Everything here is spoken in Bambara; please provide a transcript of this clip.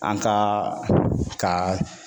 An ka ka